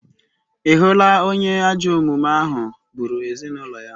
Ị hụla onye ajọ omume ahụ gburu ezinụlọ ya?